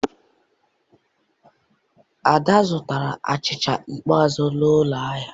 Ada zụtara achịcha ikpeazụ n'ụlọ ahịa